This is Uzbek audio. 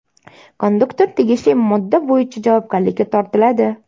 Konduktor tegishli modda bo‘yicha javobgarlikka tortiladi.